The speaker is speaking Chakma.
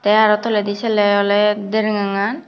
te araw toledi sele awley dergangan.